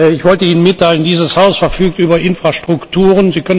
Ich wollte Ihnen mitteilen Dieses Haus verfügt über Infrastrukturen.